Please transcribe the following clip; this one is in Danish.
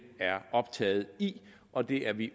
er optaget i og det er vi